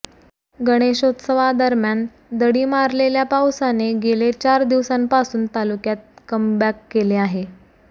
गणेशोत्सवादरम्यान दडी मारलेल्या पावसाने गेले चार दिवसांपासून तालुक्यात कमबॅक केले आहे